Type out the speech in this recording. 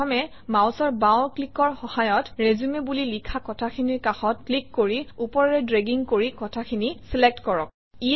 প্ৰথমে মাউচৰ বাওঁ ক্লিকৰ সহায়ত ৰিচিউম বুলি লিখা কথাখিনিৰ কাষত ক্লিক কৰি ওপৰেৰে ড্ৰেগিং কৰি কথাখিনি চিলেক্ট কৰক